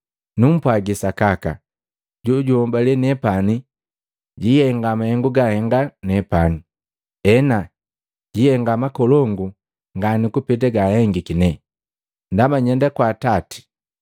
Numpwagi sakaka, jojunhobale nepani jwitenda mahengu gandenda nepani. Ena, jwitenda makolongu ngani kupeta yenhengiki nee, ndaba nyenda kwa Atati.